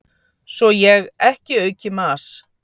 Svo ég ekki auki mas